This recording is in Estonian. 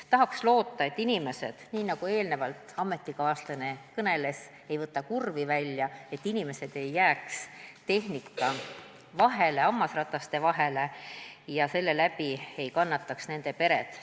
Tahaks loota, et inimesed, nii nagu eelnevalt ametikaaslane kõneles, võtavad kurvi välja, et inimesed ei jääks tehnika vahele, hammasrataste vahele ja selle läbi ei kannataks nende pered.